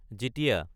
Jitiya